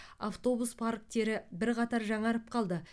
автобус парктері бірқатар жаңарып қалды